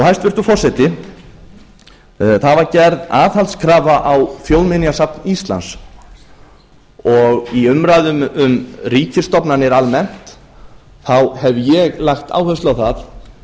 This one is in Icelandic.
hæstvirtur forseti það var gerð aðhaldskrafa á þjóðminjasafn íslands dag í umræðum um ríkisstofnanir almennt hef ég lagt áherslu á það